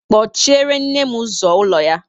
kpochiere nne m ụzọ ụlọ ya!